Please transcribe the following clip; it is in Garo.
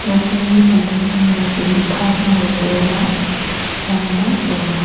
nokni samtangtango gue pang aro bolrang-rangba donga.